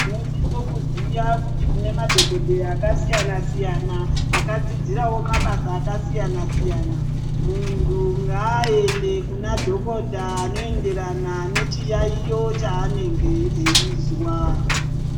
Tinosise kuziya kuti tinemadhokodheya akasiyana siyana, akadzidzirawo mabasa akasiyana siyana. Muntu ngaende kuna dhokota anoyenderana nechiyayiyo chanenge eyizwa.